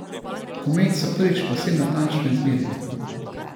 Komet so prvič povsem natančno izmerili.